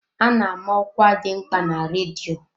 A na-ama ọkwa dị mkpa na redio.